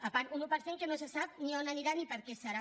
a part un un per cent que no se sap ni a on anirà ni per a què serà